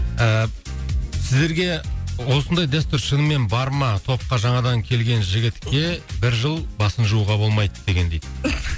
ііі сіздерге осындай дәстүр шынымен бар ма топқа жаңадан келген жігітке бір жыл басын жууға болмайды деген дейді